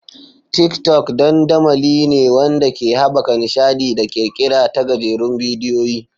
TikTok dandamali ne wanda ke haɓaka nishaɗi da ƙirƙira ta gajerun bidiyoyi.